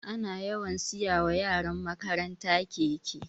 Ana yawan siya wa yaran makaranta keke